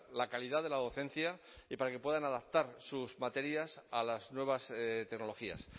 la calidad de la docencia y para que puedan adaptar sus materias a las nuevas tecnologías